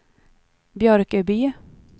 Björköby